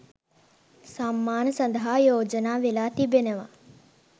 සම්මාන සඳහා යෝජනා වෙලා තිබෙනවා